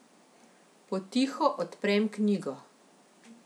Potiho odprem knjigo.